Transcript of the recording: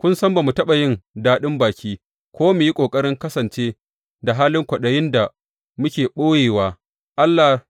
Kun san ba ma taɓa yin daɗin baki ko mu yi ƙoƙarin kasance da halin kwaɗayin da muke ɓoyewa, Allah